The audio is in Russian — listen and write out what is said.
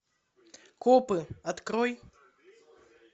копы открой